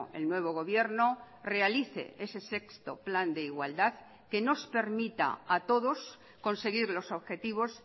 el nuevo gobierno realice ese sexto plan de igualdad que nos permita a todos conseguir los objetivos